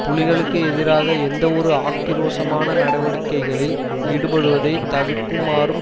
புலிகளுக்கு எதிராக எந்தவொரு ஆக்கிரோஷமான நடவடிக்கைகளில் ஈடுபடுவதை தவர்க்குமாறும்